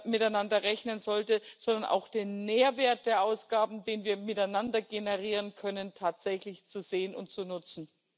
miteinander rechnen sollte, sondern auch den Mehrwert der Ausgaben, den wir miteinander generieren können, tatsächlich zu sehen und zu nutzen.